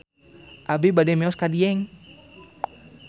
Abi bade mios ka Dieng